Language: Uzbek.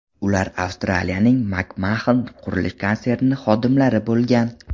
Ular Avstraliyaning Macmahon qurilish konserni xodimlari bo‘lgan.